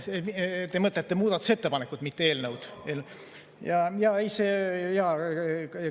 Te mõtlete muudatusettepanekut, mitte eelnõu?